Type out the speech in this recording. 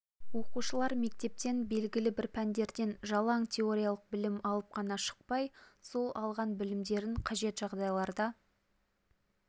оқушылар мектептен белгілі бір пәндерден жалаң теориялық білім алып қана шықпай сол алған білімдерін қажет жағдайларда